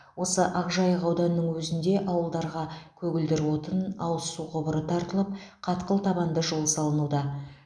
осы ақжайық ауданының өзінде ауылдарға көгілдір отын ауыз су құбыры тартылып қатқыл табанды жол салынуда